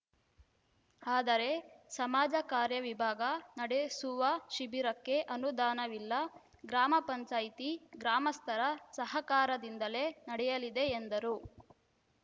ಆದರೆ ಸಮಾಜ ಕಾರ್ಯ ವಿಭಾಗ ನಡೆಸುವ ಶಿಬಿರಕ್ಕೆ ಅನುದಾನವಿಲ್ಲ ಗ್ರಾಮ ಪಂಚಾಯ್ತಿ ಗ್ರಾಮಸ್ಥರ ಸಹಕಾರದಿಂದಲೇ ನಡೆಯಲಿದೆ ಎಂದರು